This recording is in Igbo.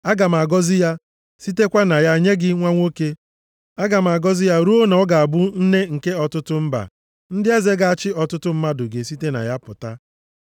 Aga m agọzi ya, sitekwa na ya nye gị nwa nwoke. Aga m agọzi ya ruo na ọ ga-abụ nne nke ọtụtụ mba. Ndị eze ga-achị ọtụtụ mmadụ ga-esite na ya pụta.”